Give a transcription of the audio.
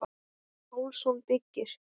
Pálsson byggir.